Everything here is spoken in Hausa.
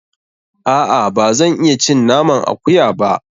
A'a, ba zan iya cin naman akuya ba.